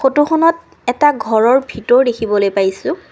খনত এটা ঘৰৰ ভিতৰ দেখিবলৈ পাইছোঁ।